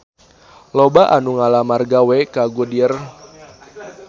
Loba anu ngalamar gawe ka Goodyear